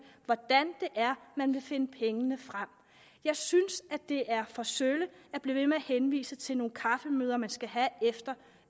hvordan det er man vil finde pengene jeg synes at det er for sølle at blive ved med at henvise til nogle kaffemøder man skal have efter